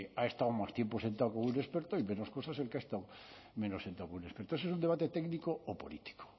ha estado más tiempo sentado con un experto y menos cosas el que ha estado menos sentado con un experto ese es un debate técnico o político